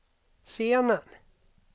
scenen